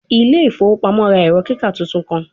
Ile ifowo pamo ra ẹrọ kika tuntun kan